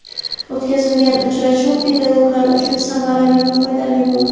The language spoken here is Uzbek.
O‘tkazilgan uchrashuv pedagoglar uchun samarali va foydali bo‘ldi.